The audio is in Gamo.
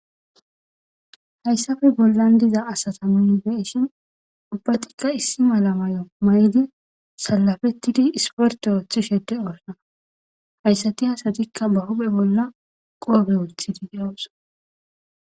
Hayssappe bollan diza asata mingeshin ubbatikka issi mala mayo may7idi salafettidi isporte oothishe dornana hayssati hasatikka ba huphe bolla qoobe wuthidi de7awus.